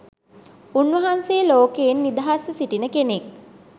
උන්වහන්සේ ලෝකයෙන් නිදහස්ව සිටින කෙනෙක්